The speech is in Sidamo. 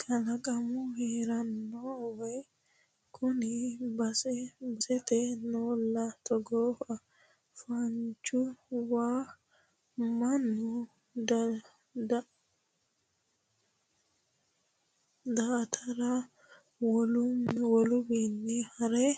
Kalaqamunni heerano wayi kuni base basete noolla togooha fonchu waa mannu daa"atara woluwinni hare